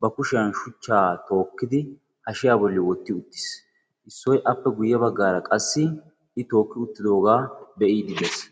ba kushiyan shuchchaa tookkidi hashiya bolli wotti uttiis. Issoy aappe guye baggaara qassi I tookki uttidoogaa be'iidi dees.